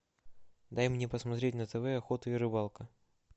дай мне посмотреть на тв охота и рыбалка